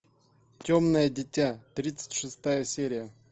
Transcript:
темное дитя тридцать шестая серия